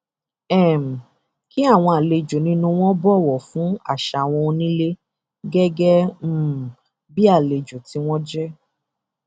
um kí àwọn àlejò nínú wọn bọwọ fún àṣà àwọn onílé gẹgẹ um bíi àlejò tí wọn jẹ